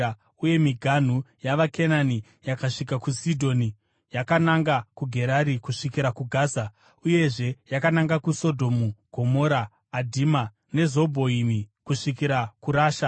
uye miganhu yavaKenani yakasvika kuSidhoni yakananga kuGerari kusvikira kuGaza, uyezve yakananga kuSodhomu, Gomora, Adhima neZebhoimi, kusvikira kuRasha.)